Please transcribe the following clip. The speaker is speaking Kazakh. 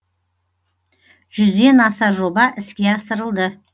жүзден аса жоба іске асырылды